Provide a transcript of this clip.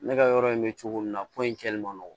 Ne ka yɔrɔ in bɛ cogo min na ko in kɛlen man nɔgɔn